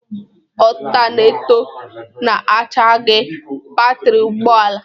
Otaneto na-achargi batrị ụgbọ ala